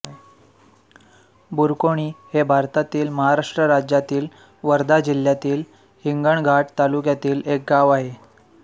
बुरकोणी हे भारतातील महाराष्ट्र राज्यातील वर्धा जिल्ह्यातील हिंगणघाट तालुक्यातील एक गाव आहे